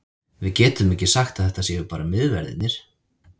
Við getum ekki sagt að þetta séu bara miðverðirnir.